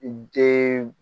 Den